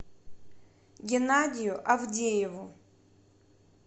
геннадию авдееву